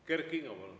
Kert Kingo, palun!